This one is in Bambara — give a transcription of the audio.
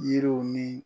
Yiriw ni